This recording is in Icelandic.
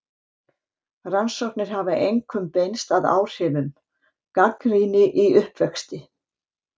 Rannsóknir hafa einkum beinst að áhrifum: Gagnrýni í uppvexti.